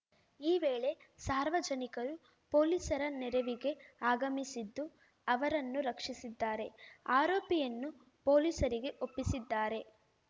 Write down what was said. ಈ ವೇಳೆ ಸಾರ್ವಜನಿಕರು ಪೊಲೀಸರ ನೆರವಿಗೆ ಆಗಮಿಸಿದ್ದು ಅವರನ್ನು ರಕ್ಷಿಸಿದ್ದಾರೆ ಆರೋಪಿಯನ್ನು ಪೊಲೀಸರಿಗೆ ಒಪ್ಪಿಸಿದ್ದಾರೆ